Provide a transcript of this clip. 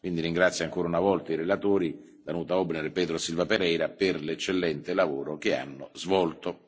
Quindi ringrazio ancora una volta i relatori Danuta Maria Hübner e Pedro Silva Pereira per l'eccellente lavoro che hanno svolto.